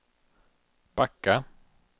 backa